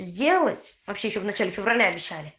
сделать вообще ещё в начале февраля решали